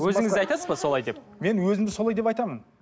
өзіңіз де айтасыз ба солай деп мен өзімді солай деп айтамын